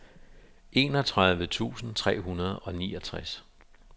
enogtredive tusind tre hundrede og niogtres